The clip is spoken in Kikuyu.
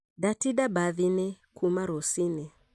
Ndatĩnda mbathiinĩ kuuma rũcinĩ